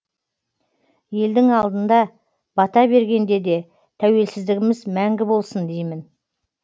елдің алдында бата бергенде де тәуелсіздігіміз мәңгі болсын деймін